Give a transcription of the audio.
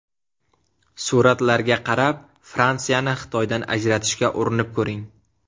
Suratlarga qarab Fransiyani Xitoydan ajratishga urinib ko‘ring.